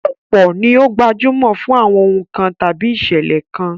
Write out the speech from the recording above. Ọ̀pọ̀ ni ó gbajúmọ̀ fún àwọn ohùn kan àbí ìṣẹ̀lẹ̀ kan